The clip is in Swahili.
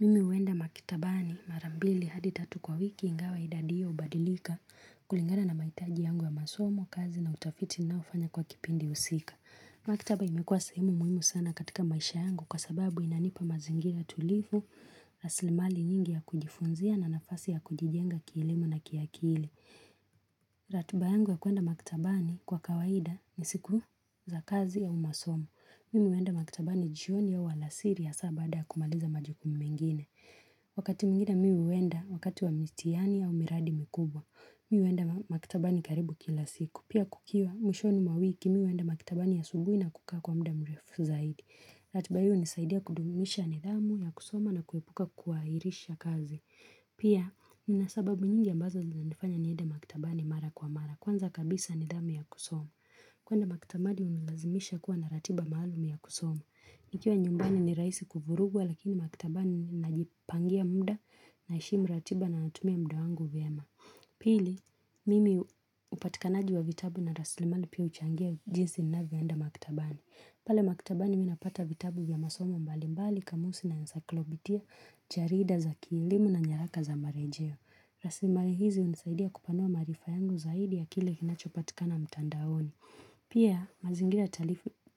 Mimi uenda makitabani mara mbili hadi tatu kwa wiki ingawa idadi hio ubadilika kulingana na maitaji yangu ya masomo, kazi na utafiti ninaofanya kwa kipindi husika. Makitaba imekuwa sehemu muhimu sana katika maisha yangu kwa sababu inanipa mazingira tulivu, raslimali nyingi ya kujifunzia na nafasi ya kujijenga kielimu na kiakili. Ratuba yangu ya kuenda makitabani kwa kawaida ni siku za kazi ya umasomo. Mimi uenda makitabani jioni au alasiri hasa baada ya kumaliza majukumu mengine. Wakati mwingine mi uenda wakati wa mitiani au miradi mikubwa, mi uenda makitabani karibu kila siku. Pia kukiwa mwishoni mwa wiki mi uenda makitabani asubuhi na kukaa kwa mda mrefu zaidi. Ratiba hiyo unisaidia kudumisha nidhamu ya kusoma na kuepuka kuairisha kazi. Pia nina sababu nyingi ambazo zinanifanya nirnda makitabani mara kwa mara. Kwanza kabisa nidhamu ya kusoma. Kwenda makitabani unilazimisha kuwa na ratiba maalum ya kusoma. Nikiwa nyumbani ni raisi kuvurugwa lakini maktabani najipangia muda, naheshimu ratiba na natumia mda wangu vyema. Pili, mimi upatikanaji wa vitabu na raslimali pia uchangia jinsi ninavyoenda maktabani. Pale maktabani mi napata vitabu vya masomo mbali mbali, kamusi na encyclopedia, jarida za kielimu na nyaraka za marejeo. Raslimali hizi unisaidia kupanua maarifa yangu zaidi ya kile kinachopatikana mtandaoni. Pia mazingira